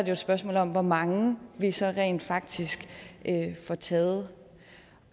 et spørgsmål om hvor mange vi så rent faktisk får taget